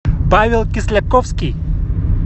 павел кисляковский